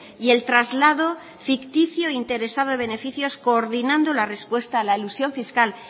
y el traslado ficticio interesando beneficios coordinando la respuesta a la elusión fiscal